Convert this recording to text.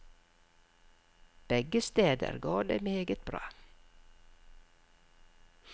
Begge steder går det meget bra.